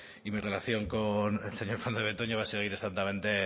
y mi relación con el señor fernández de betoño va a seguir exactamente